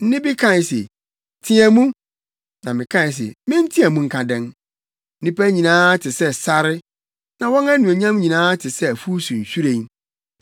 Nne bi kae se, “Teɛ mu.” Na mekae se, “Menteɛ mu nka dɛn?” “Nnipa nyinaa te sɛ sare, na wɔn anuonyam nyinaa te sɛ afuw so nhwiren.